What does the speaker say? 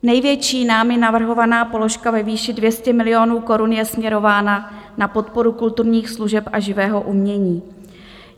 Největší námi navrhovaná položka ve výši 200 milionů korun je směrována na podporu kulturních služeb a živého umění.